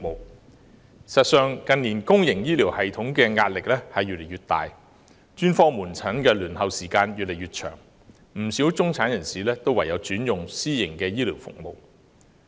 事實上，近年公營醫療系統的壓力越來越大，專科門診的輪候時間越來越長，不少中產人士唯有轉用私營醫療服務。